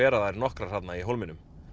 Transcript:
þær nokkrar þarna í hólminum